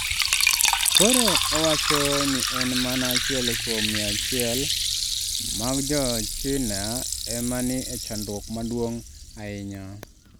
Koro owacho ni en mana achiel kuom mia achiel mag Jo-China ema ni e chandruok maduong’ ahinya.